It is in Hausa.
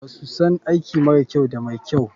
BAsu san aiki mara kyau da mai kyau.